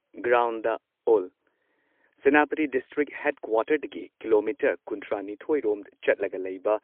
ground ꯑꯦꯜ Senapati district ꯍꯦꯗꯀ꯭ꯋꯥꯇꯔꯁꯇꯒꯤ kilometre ꯀꯨꯟꯊ꯭ꯔꯥ ꯅꯤꯊꯣꯏ ꯔꯣꯝ ꯆꯠꯂꯒ ꯂꯩꯕ